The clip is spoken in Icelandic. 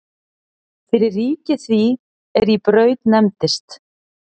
Fyrir ríki því er í Braut nefndist.